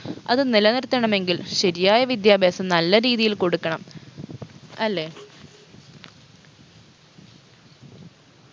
അത് നിലനിർത്തണമെങ്കിൽ ശരിയായ വിദ്യാഭ്യാസം നല്ല രീതിയിൽ കൊടുക്കണം അല്ലെ